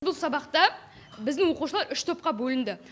бұл сабақта біздің оқушылар үш топқа бөлінді